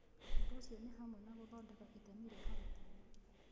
Ũndũ ũcio nĩ hamwe na gũthondeka itemi rĩa arutani.